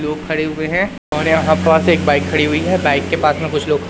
लोग खड़े हुए है और यहां पास एक बाइक खड़ी हुई है बाइक के पास में कुछ लोग--